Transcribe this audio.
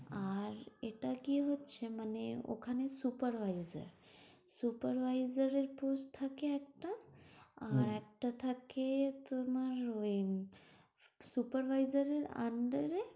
আর এটা কি হচ্ছে মানে, ওখানে supervisor supervisor এর post থাকে একটা, আর একটা থাকে তোমার ওই supervisor এর under এ